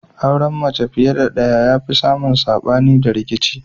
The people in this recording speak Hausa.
Auren mace fiye da ɗaya ya fi samun sabani da rikici